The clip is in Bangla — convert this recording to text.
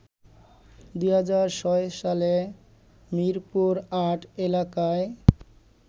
২০০৬ সালে মিরপুর-৮ এলাকায়